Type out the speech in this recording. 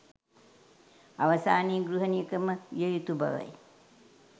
අවසානයේ ගෘහණියකම විය යුතු බවයි.